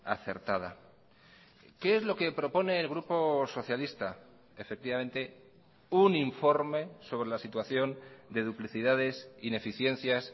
acertada qué es lo que propone el grupo socialista efectivamente un informe sobre la situación de duplicidades ineficiencias